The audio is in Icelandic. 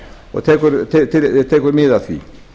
og tekur mið af því